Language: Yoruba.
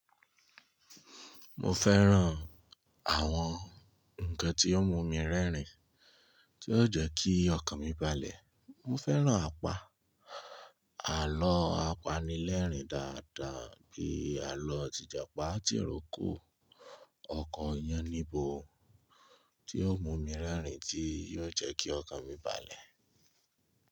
Mo fẹ́ràn àwọn ǹkan tí yóò mú mi rẹ́rìn, tí óò jẹ́ kí ọkàn mi balẹ̀. Mo fẹ́ràn apá, àlọ́ apanilẹ́rìn dáadáa bíi àlọ́ ti japà, Tìrókò, ọkọ Yáníbo, tí ó mú mi rẹ́rìn tí yóò jẹ́ kí ọkàn mi balẹ̀.